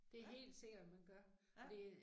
Ja. Ja